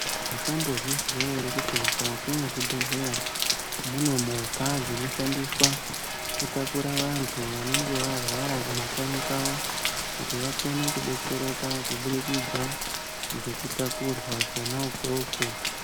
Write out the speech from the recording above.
Makambo zvinzwa ere kuti mukati me zvibhedhleya mune movha dzino shandiswa ku takura vantu vanenge varwara mu makanyi kwavo kuti vakone kudetsereka ku budikidza ngeku takurwa kona ikoko.